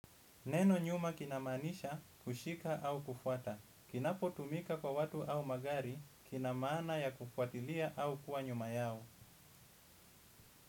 Neno nyuma kinamaanisha kushika au kufwata. Kinapotumika kwa watu au magari, kina maana ya kufuatilia au kuwa nyuma yao.